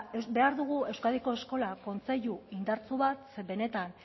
behar dugu euskadiko eskola kontseilu indartsu bat benetan